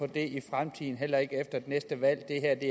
det i fremtiden heller ikke efter næste valg